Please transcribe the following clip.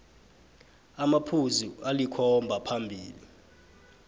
amaphuzu alikhomba aphambili